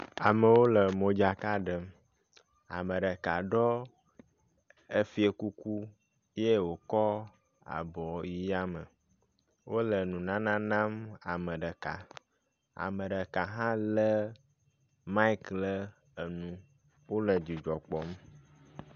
Amewo lemodzka ɖem, ame ɖeka ɖɔ efie kuku ye wòkɔ abɔ yi yame. Wole nunana nam ame ɖeka. Ame ɖeka hã lé maik le enu. Wole dzidzɔ kpɔm.